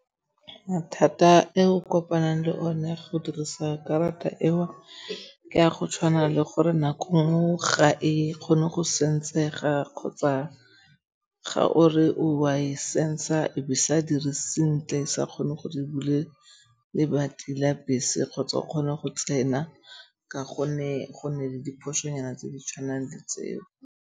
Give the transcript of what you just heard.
Mathata e o kopanang le one go dirisa karata eo ke a go tshwana le gore nako nngwe ga e kgone go sensega kgotsa ga o re o a e sensega e be e sa dire sentle e sa kgone go di bule lebati la bese kgotsa o kgone go tsena ka gonne go nne le diphoso nyana tse di tshwanang le tseo.